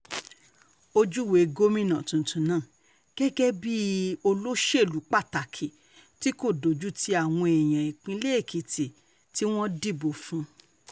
ó júwe gómìnà tuntun náà gẹ́gẹ́ um bíi olóṣèlú pàtàkì tí kò dojútì àwọn èèyàn ìpínlẹ̀ èkìtì tí um wọ́n dìbò fún